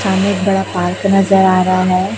सामने एक बड़ा पार्क नजर आ रहा है।